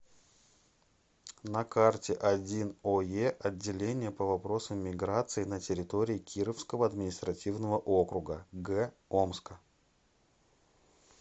на карте один ое отделение по вопросам миграции на территории кировского административного округа г омска